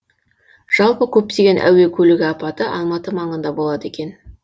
жалпы көптеген әуе көлігі апаты алматы маңында болады екен